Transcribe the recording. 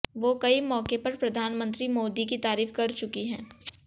वो कई मौके पर प्रधानमंत्री मोदी की तारीफ कर चुकी हैं